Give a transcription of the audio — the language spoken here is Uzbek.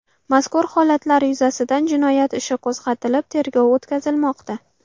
Mazkur holatlar yuzasidan jinoyat ishi qo‘zg‘atilib, tergov o‘tkazilmoqda.